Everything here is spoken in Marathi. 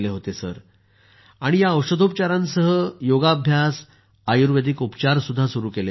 सर मी या औषधोपचारांसह योगाभ्यास आयुर्वेदिक उपचारही सुरु केले होते